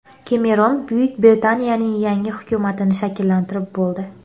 Kemeron Buyuk Britaniyaning yangi hukumatini shakllantirib bo‘ldi.